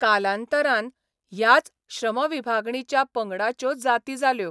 कालांतरान ह्याच श्रमविभागणीच्या पंगडांच्यो जाती जाल्यो.